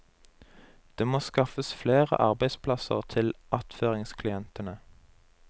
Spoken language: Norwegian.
Det må skaffes flere arbeidsplasser til attføringsklientene.